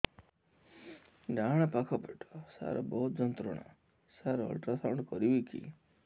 ଡାହାଣ ପାଖ ପେଟ ସାର ବହୁତ ଯନ୍ତ୍ରଣା ସାର ଅଲଟ୍ରାସାଉଣ୍ଡ କରିବି କି